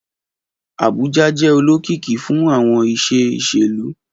Abuja jẹ olokiki fun awọn iṣe iṣelu.